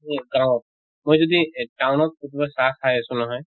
এহ গাওঁত মই যদি town ত কতোবা চাহ খাই আছো নহয়